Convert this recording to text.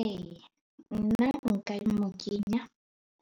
E, nna nka e mo kenya